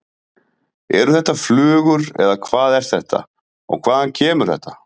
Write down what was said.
Eru þetta flugur eða hvað er þetta og hvaðan kemur þetta?